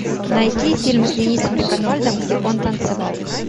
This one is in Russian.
найди фильм с денисом реконвальдом где он танцевал